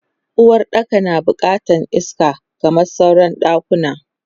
Uwaɗɗaka na bukatan iska kamar sauran ɗakuna.